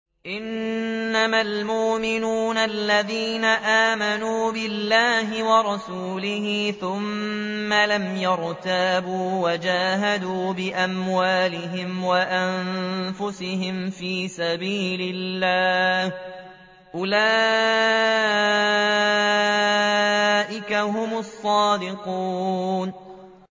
إِنَّمَا الْمُؤْمِنُونَ الَّذِينَ آمَنُوا بِاللَّهِ وَرَسُولِهِ ثُمَّ لَمْ يَرْتَابُوا وَجَاهَدُوا بِأَمْوَالِهِمْ وَأَنفُسِهِمْ فِي سَبِيلِ اللَّهِ ۚ أُولَٰئِكَ هُمُ الصَّادِقُونَ